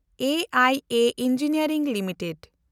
ᱮᱭᱟ engineering limited